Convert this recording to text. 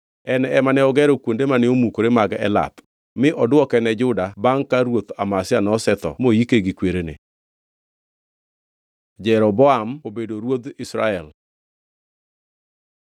En ema ne ogero kuonde mane omukore mag Elath, mi odwoke ne Juda bangʼ ka ruoth Amazia nosetho moike gi kwerene. Jeroboam obedo ruodh Israel